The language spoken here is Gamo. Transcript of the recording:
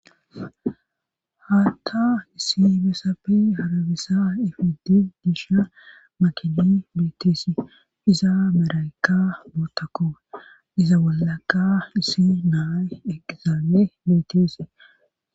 haatta issi besapfi harabisa ifidi disha makini bitisi iza meraykka boottako iza wollaka isi naa eqizaame bitisi